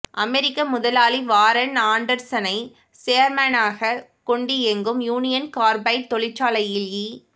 அமெரிக்க முதலாளி வாரன் ஆண்டர்சனை சேர்மனாகக் கொண்டியங்கும் யூனியன் கார்பைட் தொழிற்சாலையில் இ